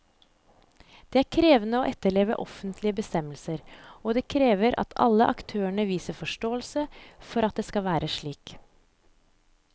Det er krevende å etterleve offentlige bestemmelser, og det krever at alle aktørene viser forståelse for at det skal være slik.